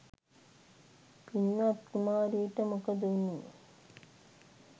පින්වත් කුමාරිට මොකද වුණේ?